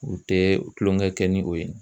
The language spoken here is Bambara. U tɛ tulonkɛ kɛ ni o ye.